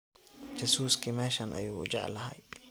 Jasuski meshan ayu ujeclhy.